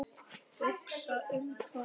Hugsa um hvað?